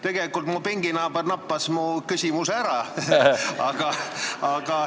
Tegelikult mu pinginaaber näppas mu küsimuse ära.